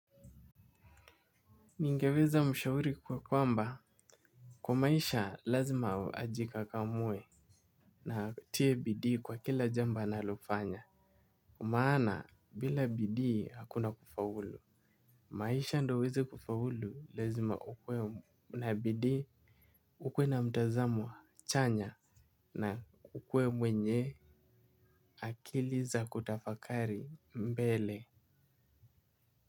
Ningeweza mshauri kuwa kwamba kwa maisha lazima ajikakamue na atie bidii kwa kila jambo analofanya kwa maana bila bidii hakuna kufaulu. Maisha ndo uweze kufaulu lazima ukue na bidii. Ukue na mtazamo chanya na ukue mwenye akili za kutafakari mbele.